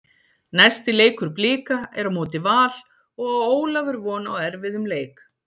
Næsti leikur Blika er á móti Val og á Ólafur von á erfiðum leik.